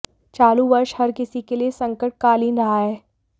चालू वर्ष हर किसी के लिए संकटकालीन रहा है